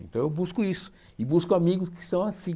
Então eu busco isso e busco amigos que são assim.